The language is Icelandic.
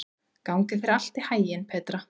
Gangi þér allt í haginn, Petra.